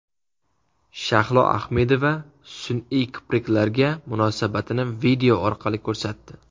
Shahlo Ahmedova sun’iy kipriklarga munosabatini video orqali ko‘rsatdi.